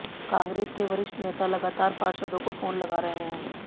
कांग्रेस के वरिष्ठ नेता लगातार पार्षदों को फोन लगा रहे हैं